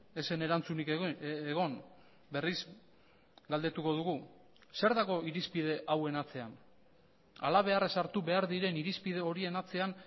ez zen erantzunik egon berriz galdetuko dugu zer dago irizpide hauen atzean halabeharra sartu behar diren irizpide horien atzean